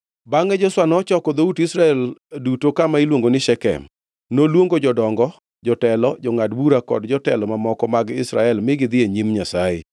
Bangʼe Joshua nochoko dhout Israel duto kama iluongo ni Shekem. Noluongo jodongo, jotelo, jongʼad bura kod jotelo mamoko mag Israel mi gidhi e nyim Nyasaye.